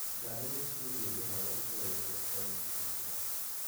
Ndarĩria ciĩgiĩ mihang'o itũra-inĩ rĩakwa wikendi ĩno .